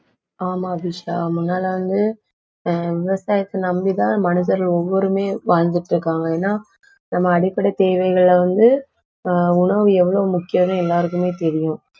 ஆமா அபிஷா முன்னால வந்து, ஆஹ் விவசாயத்தை நம்பிதான் மனிதர்கள் ஒவ்வொருவருமே வாழ்ந்துட்டு இருக்காங்க. ஏன்னா நம்ம அடிப்படை தேவைகளை வந்து ஆஹ் உணவு எவ்வளவு முக்கியம்னு எல்லாருக்குமே தெரியும்